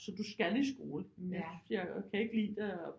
Så du skal i skole men jeg kan ikke lide det og